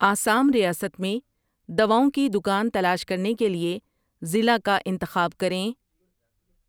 آسام ریاست میں دواؤں کی دکان تلاش کرنے کے لیے ضلع کا انتخاب کریں